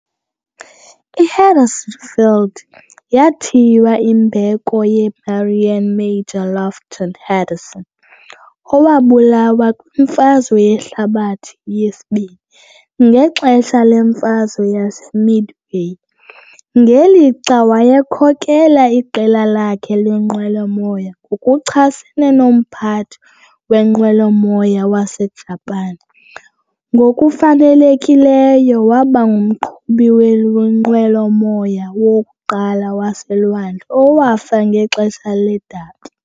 I-Henderson Field yathiywa imbeko ye-Marine Major Lofton Henderson, owabulawa kwiMfazwe Yehlabathi II, ngexesha leMfazwe yaseMidway, ngelixa wayekhokela iqela lakhe leenqwelomoya ngokuchasene nomphathi wenqwelomoya waseJapan, ngokufanelekileyo waba ngumqhubi wenqwelomoya wokuqala waseLwandle owafa ngexesha ledabi.